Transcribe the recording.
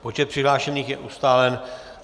Počet přihlášených je ustálen.